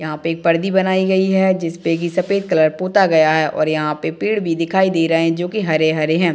यहाँ पे परदी बनायीं गयी हैं जिसपे ये सफेद कलर पोता गया हैं और यहाँ पे पेड़ भी दिखाई दे रहे हैं जो की हरे-हरे हैं।